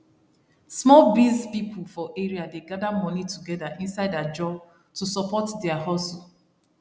small biz people for area dey gather money together inside ajo to support dia hustle